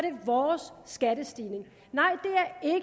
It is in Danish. vores skattestigning nej